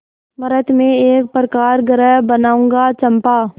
मृति में एक प्रकाशगृह बनाऊंगा चंपा